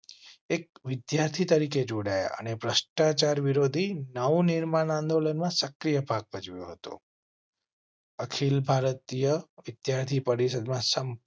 એક વિદ્યાર્થી તરીકે જોડાયા અને ભ્રષ્ટાચાર વિરોધી નવનિર્માણ આંદોલનમાં સક્રિય ભાગ ભજવ્યો હતો. અખિલ ભારતીય વિદ્યાર્થી પરિષદ માં સંપૂર્ણ